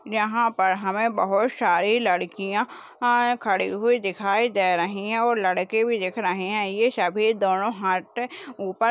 यहा पर हमे बहुत सारी लड्कीया आ खड़ी हुई दिखाई दे रही है और लड़के भी दिख रहे है ये सभी दोनों हात से ऊपर--